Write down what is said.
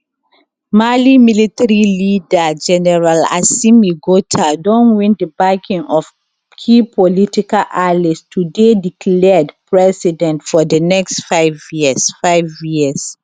mali military leader gen assimi gota don win di backing of key political allies to dey declared president for di next five years five years